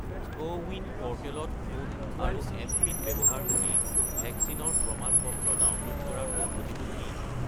CoWIN প'ৰ্টেলত phone আৰু mPIN ব্যৱহাৰ কৰি ভেকচিনৰ প্ৰমাণ-পত্ৰ ডাউনলোড কৰাৰ পদ্ধতিটো কি?